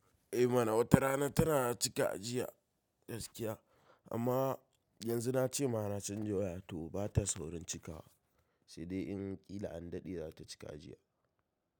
Eh mana wata rana tana cika jiya gaskiya amma yanzu na ce ma na canja waya toh ba ta saurin cikawa sai dai in ƙila an daɗe za ta cika jiya.